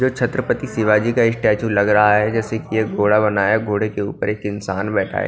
जो छत्रपति शिवाजी का स्टैचू लग रहा है जैसे कि एक घोड़ा बना है घोड़े के ऊपर एक इंसान बैठा--